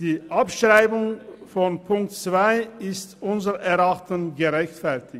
Die Abschreibung von Ziffer 2 ist unseres Erachtens gerechtfertigt.